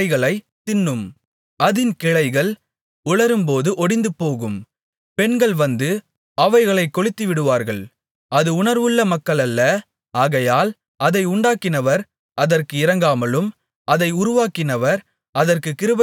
அதின் கிளைகள் உலரும்போது ஒடிந்துபோகும் பெண்கள் வந்து அவைகளைக் கொளுத்திவிடுவார்கள் அது உணர்வுள்ள மக்களல்ல ஆகையால் அதை உண்டாக்கினவர் அதற்கு இரங்காமலும் அதை உருவாக்கினவர் அதற்குக் கிருபை செய்யாமலும் இருப்பார்